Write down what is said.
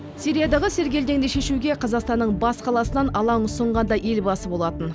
сириядағы сергелдеңді шешуге қазақстанның бас қаласынан алаң ұсынған да елбасы болатын